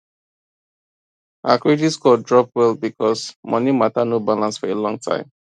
her credit score drop well because money matter no balance for a long time